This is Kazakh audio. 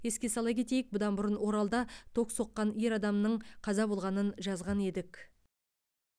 еске сала кетейік бұдан бұрын оралда ток соққан ер адамның қаза болғанын жазған едік